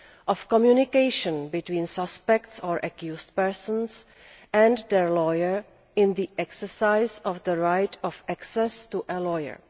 of communication between suspects or accused persons and their lawyer in the exercise of the right of access to a lawyer.